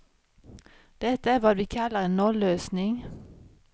Detta är vad vi kallar en nollösning.